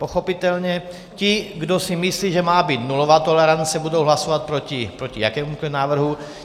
Pochopitelně ti, kdo si myslí, že má být nulová tolerance, budou hlasovat proti jakémukoliv návrhu.